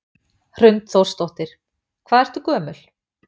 Hrund Þórsdóttir: Hvað ertu gömul?